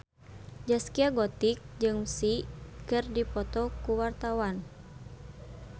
Zaskia Gotik jeung Psy keur dipoto ku wartawan